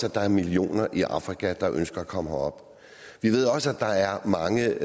at der er millioner i afrika der ønsker at komme herop vi ved også at der er mange